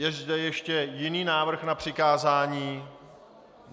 Je zde ještě jiný návrh na přikázání?